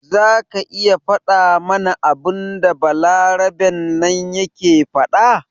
Zaka iya fada mana abinda balaraben nan yake faɗa?